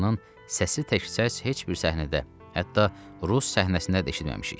səsi təkcə heç bir səhnədə, hətta rus səhnəsində də eşitməmişik.